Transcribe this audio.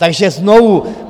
Takže znovu.